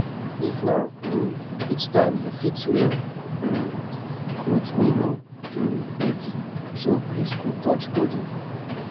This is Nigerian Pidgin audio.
if na um heat time you fit wear um cloth wey no um heavy so breeze go touch body